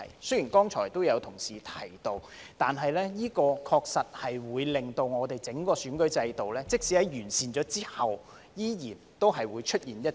雖然剛才也有同事提到，但這確實會令整個選舉制度即使在完善後，仍然會出現一些漏洞。